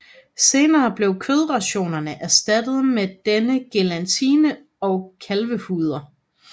Senere blev kødrationerne erstattet med denne gelatine og kalvehuder